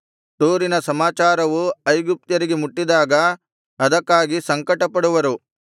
ತೂರಿನ ಸಮಾಚಾರವು ಐಗುಪ್ತ್ಯರಿಗೆ ಮುಟ್ಟಿದಾಗ ಅದಕ್ಕಾಗಿ ಸಂಕಟಪಡುವರು